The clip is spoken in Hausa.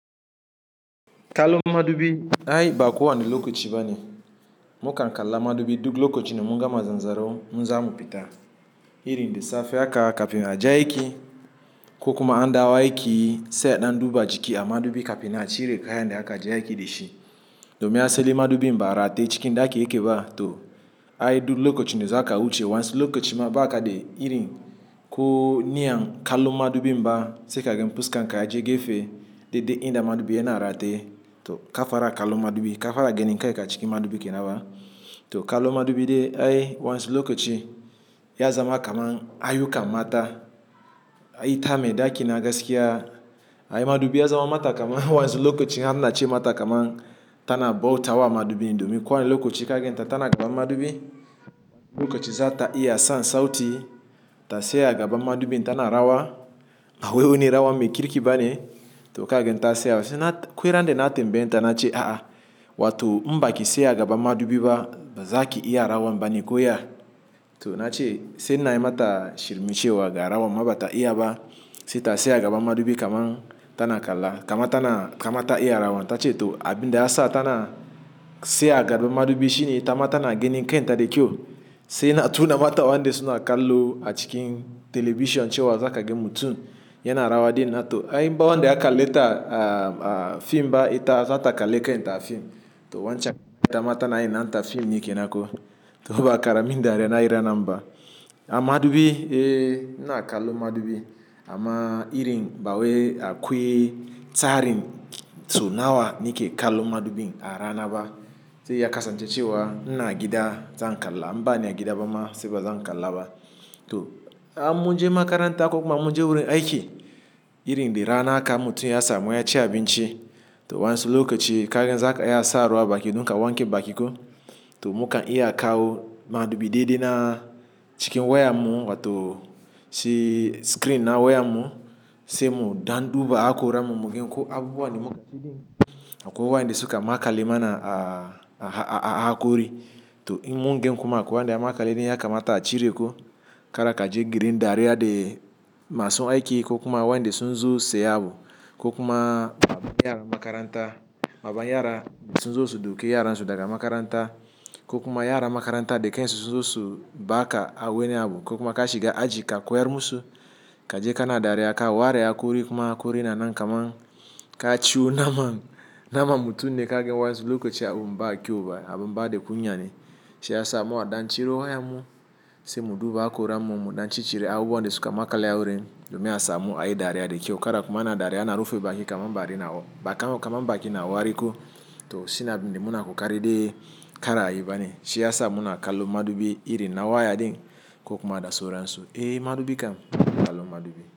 Kalu madubi ayi bako wani lokoci bane. Mukankalla madubi duk lokacin mu gama zanzaro, muzamu fita. Irin da safe haka kafin aje aiki, kokuma an dawo aiki se a dan duba jiki a madubi kafin nan cire kayan da aka akaje aiki dishin. Domin asali madubin barateye cikin daki yake ba to ai duk lokacin da zaka wuce. Wa ansu lokacin ma baka de irin ko niyan kalon madubi ba se kaga fuskanka yaji gefe, dede inda madubi yana rate to kafara kalun madubi. Kafara genin kanka cikin madubi kenahwa. To kalu madubi de ai wa ansu lokaci ya zama kaman ayuka mata ayi ta medaki na gasakiya. Ayi madubi ya zama mata kaman wa ansu lokaci an nache mata kaman tana bauta wa madubi. Domin kowa ne lokaci kagen ta tana gaban madubi. Lokaci zata iya sansauti ta tsaya gaba madubi tana rawa. Wai wani rawan mai kirki bane to kagan ta saya. Kwaira da na tambeye ta na ce a'a, wa to baki tsaya gaba madubi ba, baza ki iya rawan bane ko ya? To nace sai ina yimata shirme shewa garawan ma bata iyaba, sai ta tsaya gaban madubin kamar tana kalla, kamar tana, kamar ta iya rawan. To abin da ya sa tana tsaya gaba madubi shi ne ita mata na genin kanta de kiyo. Sai na tuna mata wande suna kallu a cikin television cewa zakagen mutum yana rawa din na to ayi mba wande yakalleta a, a fim ba ita za ta kalli kanta a fim. To wancan itama tanayin nata fim ne kenan ko. To ba ara min dariya nayi ranan ba. A madubi, eh, na kalu madubi. Ama irin bawai akwai tsarin saunawa nike kallon madubin a rana ba. Se ya kasance cewa ina gida zan kalla in ba na gida ba ma se ba zan kalla ba. To amun je makaranta kokuma amun je wurin aiki, irin da rana aka in mutum ya samu waya ci abinci to wa ansu lokaci kayan zaka iya sa ruwa baki dunka wanke bakiko to muka iya kawo madubi daidai na cikin wayar mu wa to shi screen na wayar mu se mu dan duba hakora mu mu genko abubuwan da muka ciki. Akwai wa inda suka makale mana a, a hakori to in mun gen kuma akwai makale dun ya kamata a cire ko kar kaje girin dariya de masu aiki kokuma wande sunzu se abu kokuma baban yara makaranta, baban yara sunzu su duke yaran su daga makaranta kokuma yara makaranta de kansun sunzo subaka aweni abu kokuma ka shiga aji ka koyar musu kaje kana dariya ka ware hakori kuma hakori na nan kaman ka ciwo naman, naman mutum ne kagen wansi lokaci abun ba kyau ba abun ba da kunya ne. Shi ya sa mu a dan ciro wayar mu se mu duba akora mu mu dan ci cire abubuwan de suka makali a wurin domin a samu ayi dariya de kiyo kada ku mana dariya ina rufe baki kaman ba adaina baka kaman baki na wariko to shi na bin de muna kokari de kara ayi bane. Shi ya sa muna kalon madubi irin na waya din kokuma da sauransu. Eh madubi kam, ina kallon madubi.